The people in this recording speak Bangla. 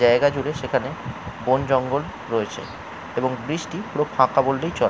জায়গাজুড়ে সেখানে বনজঙ্গল রয়েছে এবং বৃষ্টি পুরো ফাঁকা বললেই চলে।